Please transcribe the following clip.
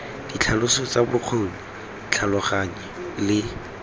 ditlhaloso tsa bokgoni tlhaloganya le